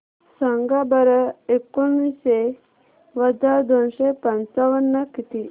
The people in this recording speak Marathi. सांगा बरं एकोणीसशे वजा दोनशे पंचावन्न किती